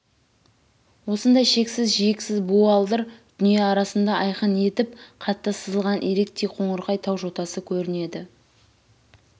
осындай шексіз жиексіз буалдыр дүние арасында айқын етіп қатты сызылған иректей қоңырқай тау жотасы көрінеді